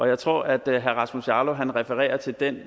jeg tror at herre rasmus jarlov refererer til den